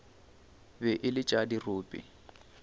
be e le tša dirope